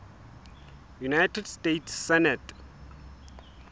united states senate